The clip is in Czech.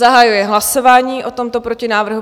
Zahajuji hlasování o tomto protinávrhu.